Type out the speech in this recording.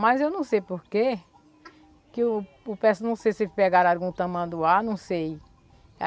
Mas eu não sei porquê, que o o pesso não sei se pegaram algum tamanduá, não sei.